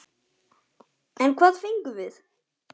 En hvað fengum við?